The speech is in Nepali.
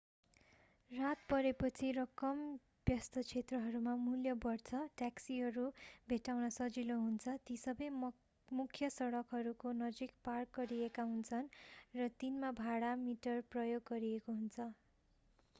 रात परेपछि र कम व्यस्त क्षेत्रहरूमा मूल्य बढ्छ ट्याक्सीहरू भेट्टाउन सजिलो हुन्छ ती सबै मुख्य सडकहरूको नजिक पार्क गरिएका हुन्छन् र तिनमा भाडा-मिटर प्रयोग गरिएको हुन्छ